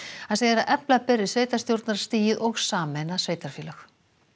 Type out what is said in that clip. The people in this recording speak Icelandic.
hann segir að efla beri sveitarstjórnarstigið og sameina sveitarfélög